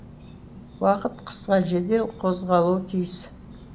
уақыт қысқа жедел қозғалуы тиіс